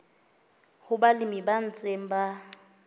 ho balemi ba ntseng ba